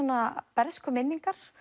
bernskuminningar